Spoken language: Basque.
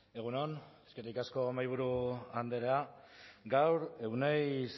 egun on eskerrik asko mahaiburu andrea gaur euneiz